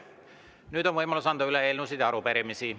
Nüüd on võimalus anda üle eelnõusid ja arupärimisi.